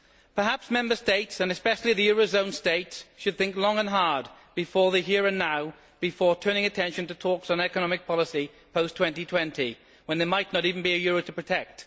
Perhaps Member States, and especially the eurozone states, should think long and hard about the here and now before turning attention to talks on economic policy post 2020, when there might not even be a euro to protect.